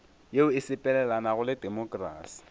yeo e sepelelanago le temokrasi